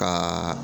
Ka